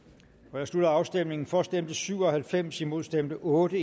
jeg slutter afstemningen for stemte syv og halvfems imod stemte otte